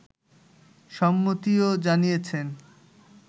সম্মতিও জানিয়েছেন